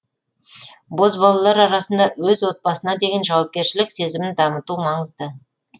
бозбалалар арасында өз отбасына деген жауапкершілік сезімін дамыту маңызды